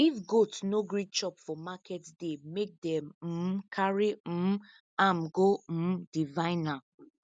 if goat no gree chop for market day make them um carry um am go um diviner